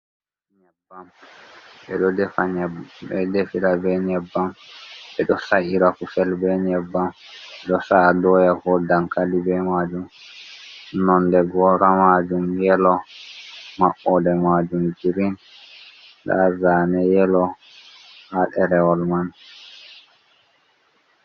Nyebbam. beɗo ɗefa be nyebam. Beɗo ɗefira be nyebbam. be ɗo ɗefira kosel be nyebbam. Beɗo sa’a ɗoya ko ɗankali be majum. Nonɗe gora majum yelo mabboɗe majum girin. Ɗa zane yelo ha ɗerewol man.